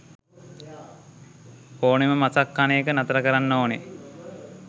ඕනෙම මසක් කන එක නතර කරන්න ඕනෙ